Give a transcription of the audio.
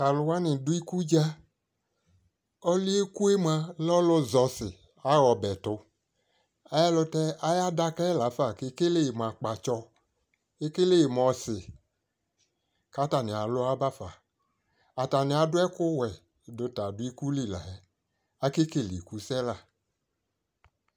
tu alʋwani dʋ ikʋdza, kʋ ɔlʋɛ ɛkʋɛ mʋa lɛ ɔlʋ zɛ ɔsi nʋ ɔbɛtʋ ayi ɛlʋtɛ ayi adakaɛ lafa kʋɛkɛlɛ mʋ akpa tsɔ kʋ ɛkɛlɛ mʋ ɔsi kʋ atani alʋ abaƒa, atani adu ɛkʋ wɛ dʋ ta adʋ ikuli la akɛ kɛlɛ ikʋ sɛ